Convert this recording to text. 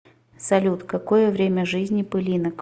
салют какое время жизни пылинок